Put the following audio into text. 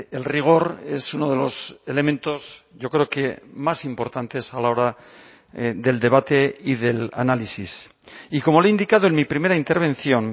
el rigor es uno de los elementos yo creo que más importantes a la hora del debate y del análisis y como le he indicado en mi primera intervención